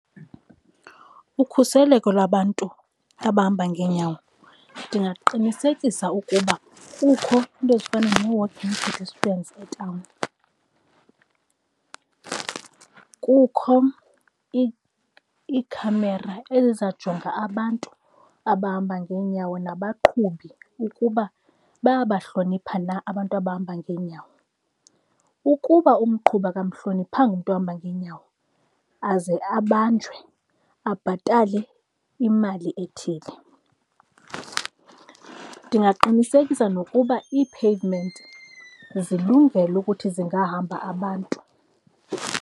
Ukhuseleko lwabantu abahamba ngeenyawo ndingaqinisekisa ukuba kukho iinto ezifana nee-walking pedestrians etawuni. Kukho iikhamera ezizajonga abantu abahamba ngeenyawo, nabaqhubi ukuba bayabahlonipha na abantu abahamba ngeenyawo. Ukuba umqhubi akamhloniphanga umntu ohamba ngeenyawo aze abanjwe, abhatale imali ethile. Ndingaqinisekisa nokuba iipheyivimenti zilungele ukuthi zingahamba abantu.